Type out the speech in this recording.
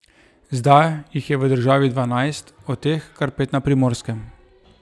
Zdaj jih je v državi dvanajst, od teh kar pet na Primorskem.